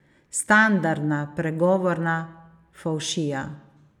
Standardna, pregovorna fovšija.